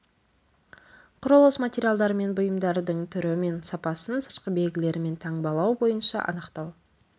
құрылыс материалдары мен бұйымдардың түрі мен сапасын сыртқы белгілері мен таңбалау бойынша анықтау